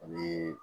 Ani